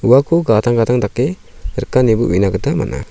uako gadang gadang dake rika ineba uina gita man·a.